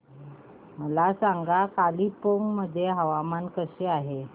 मला सांगा कालिंपोंग मध्ये हवामान कसे आहे